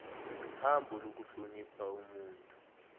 hambo lokuhlonipha ubuntu